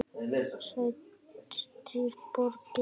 Stærstu borgir eru